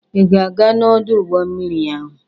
Ị ga-aga n'ọdụ ụgbọ mmiri ahụ?